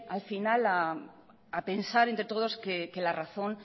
al final a pensar entre todos que la razón